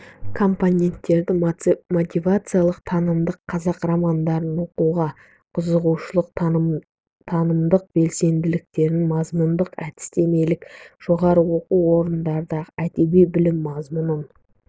компоненттері мотивациялық танымдық қазақ романдарын оқуға қызығушылық танымдық белсенділіктер мазмұндық-әдістемелік жоғары оқу орындарындағы әдеби білім мазмұнын